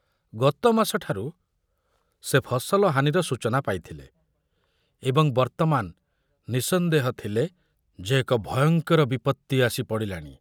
ଗତମାସ ଠାରୁ ସେ ଫସଲ ହାନିର ସୂଚନା ପାଇଥିଲେ ଏବଂ ବର୍ତ୍ତମାନ ନିଃସନ୍ଦେହ ଥିଲେ ଯେ ଏକ ଭୟଙ୍କର ବିପତ୍ତି ଆସି ପଡ଼ିଲାଣି।